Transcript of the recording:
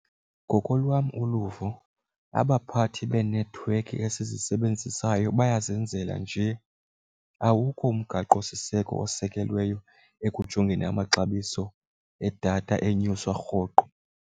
Ngokolwam uluvo abaphathi beenethiwekhi esizisebenzisayo bayazenzela nje, awukho umgaqosiseko osekelweyo ekujongeni amaxabiso edatha enyuswa rhoqo.